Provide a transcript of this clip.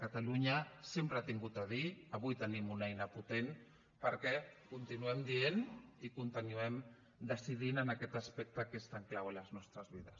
catalunya sempre hi ha tingut a dir avui tenim una eina potent perquè continuem dient i continuem decidint en aquest aspecte que és tan clau en les nostres vides